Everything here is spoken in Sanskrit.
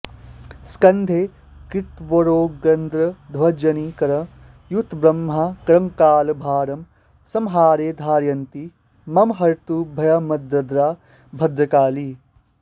स्कन्धे कृत्वोरगेन्द्रध्वजनिकरयुतम्ब्रह्मकङ्कालभारं सम्हारे धारयन्ती मम हरतु भयम्भद्रदा भद्रकाली